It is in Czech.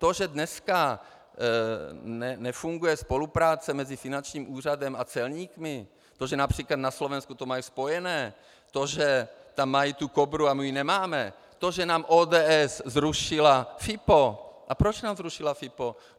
To, že dneska nefunguje spolupráce mezi finančním úřadem a celníky, to, že například na Slovensku to mají spojené, to, že tam mají tu Kobru a my ji nemáme, to, že nám ODS zrušila FIPO - a proč nám zrušila FIPO?